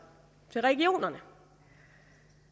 til regionerne